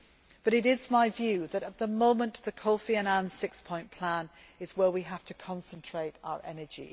But it is my view that at the moment the Kofi Annan six point plan is where we have to concentrate our energy.